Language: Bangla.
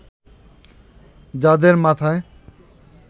যাদের মাথায়